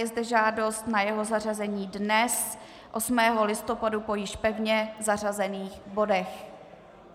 Je zde žádost na jeho zařazení dnes 8. listopadu po již pevně zařazených bodech.